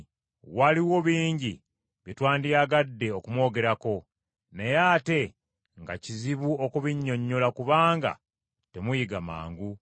Waliwo bingi bye twandiyagadde okumwogerako, naye ate nga kizibu okubinyonnyola, kubanga temuyiga mangu.